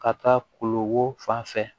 Ka taa koloko fan fɛ